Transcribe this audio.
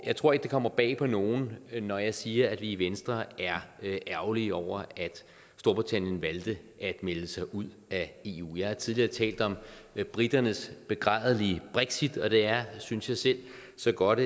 jeg tror ikke det kommer bag på nogen når jeg siger at vi i venstre er ærgerlige over at storbritannien valgte at melde sig ud af eu jeg har tidligere talt om briternes begrædelige brexit og det er synes jeg selv så godt